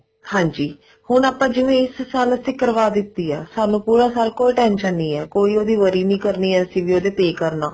ਹਾਂਜੀ ਹੁਣ ਆਪਾਂ ਜਿਵੇਂ ਇਸ ਸਾਲ ਵਾਸਤੇ ਕਰਵਾ ਦਿੱਤੀ ਹੈ ਸਾਨੂੰ ਸਾਰਾ ਸਾਲ ਕੋਈ tension ਨਹੀਂ ਹੈ ਕੋਈ ਉਹਦੀ worry ਨੀ ਕਰਨੀ ਅਸੀਂ ਵੀ ਉਹਦਾ pay ਕਰਨਾ